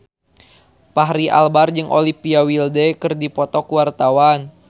Fachri Albar jeung Olivia Wilde keur dipoto ku wartawan